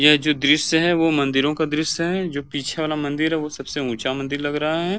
यह जो दृश्य है वो मंदिरों का दृश्य है जो पीछे वाला मंदिर है वो सबसे उच्चा मंदिर लग रहा है।